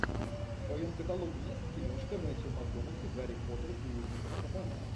в твоем каталоге есть киношка мэттью макконахи гарри поттер и узник азкабана